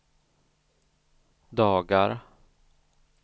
dagar